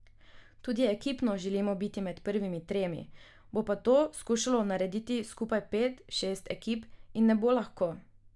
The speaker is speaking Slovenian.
Tudi ekipno želimo biti med prvimi tremi, bo pa to skušalo narediti skupaj pet, šest ekip in ne bo lahko.